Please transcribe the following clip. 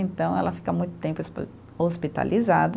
Então, ela fica muito tempo espe, hospitalizada.